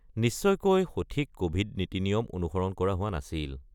নিশ্চয়কৈ সঠিক ক'ভিড নিয়ম-নীতি অনুসৰণ কৰা হোৱা নাছিল।